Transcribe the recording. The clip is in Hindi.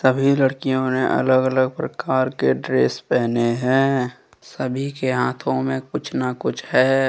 सभी लड़कियों ने अलग अलग प्रकार के ड्रेस पहने है सभी के हाथों में कुछ न कुछ है।